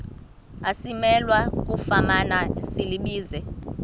asimelwe kufumana silibize